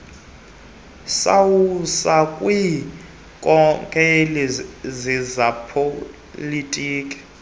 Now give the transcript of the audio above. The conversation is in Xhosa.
sawiswa ziinkokeli zezopolitiko